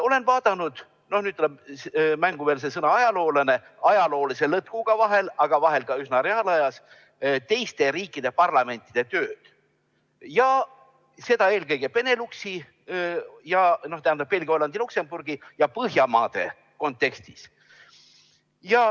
Olen vahel vaadanud, nüüd tuleb mängu sõna "ajaloolane", ajaloolise lõtkuga, aga vahel ka üsna reaalajas teiste riikide parlamentide tööd, eelkõige Beneluxi – Belgia, Hollandi, Luksemburgi – ja Põhjamaade kontekstis.